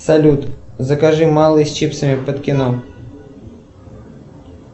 салют закажи малый с чипсами под кино